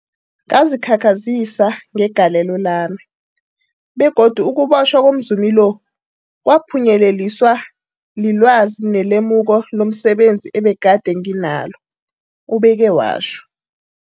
Ngazikhakhazisa ngegalelo lami, begodu ukubotjhwa komzumi lo kwaphunyeleliswa lilwazi nelemuko lomse benzi ebegade nginalo, ubeke watjho.